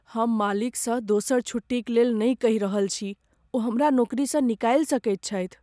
हम मालिकसँ दोसर छुट्टीक लेल नहि कहि रहल छी। ओ हमरा नौकरीसँ निकालि सकैत छथि।